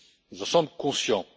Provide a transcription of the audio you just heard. Nous en sommes conscients.